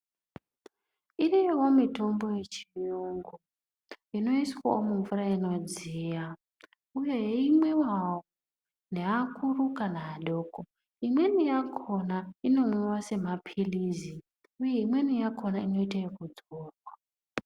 Iriyowo mitombo yechiyungu inoiswawo mumvura inodziya kana yeimwiwawo neakuru kana adoko, imweni yakhona inomwiwa semapilizi, imweni yakhona inoita ekudzorwa.